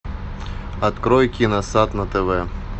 открой киносад на тв